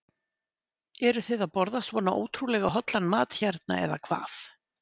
Eruð þið að borða svona ótrúlega hollan mat hérna eða hvað?